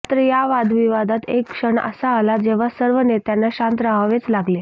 मात्र या वादविवादात एक क्षण असा आला जेव्हा सर्व नेत्यांना शांत राहावेच लागले